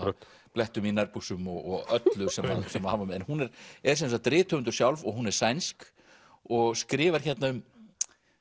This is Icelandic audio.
blettum í nærbuxum og öllu sem að hann var með hún er er sem sagt rithöfundur sjálf og hún er sænsk og skrifar hérna um